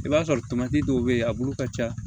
I b'a sɔrɔ dɔw bɛ yen a bolo ka ca